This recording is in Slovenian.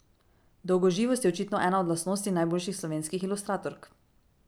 Dolgoživost je očitno ena od lastnosti najboljših slovenskih ilustratork.